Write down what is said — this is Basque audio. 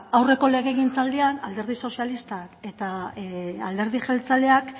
ba aurreko legegintzaldian alderdi sozialistak eta alderdi jeltzaleak